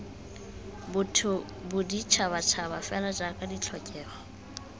botho boditšhabatšhaba fela jaaka ditlhokego